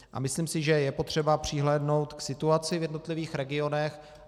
A myslím si, že je potřeba přihlédnout k situaci v jednotlivých regionech.